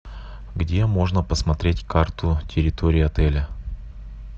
где можно посмотреть карту территории отеля